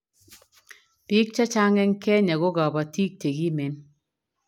biik chechang eng Kenya ko kabotit chekimen